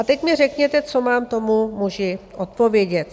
A teď mi řekněte, co mám tomu muži odpovědět.